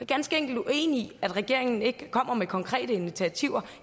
ganske enkelt uenig i det at regeringen ikke kommer med konkrete initiativer